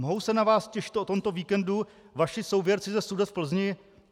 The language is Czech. Mohou se na vás těšit o tomto víkendu vaši souvěrci ze Sudet v Plzni?